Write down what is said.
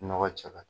Nɔgɔ cɛ ka